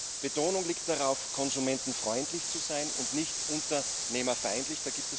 Die Betonung liegt darauf, konsumentenfreundlich zu sein und nicht unternehmerfeindlich.